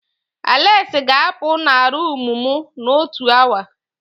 Aleksi ga-apu na rumụ m n'otu awa.